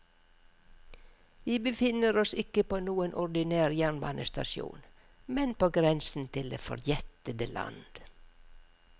Vi befinner oss ikke på noen ordinær jernbanestasjon, men på grensen til det forjettede land.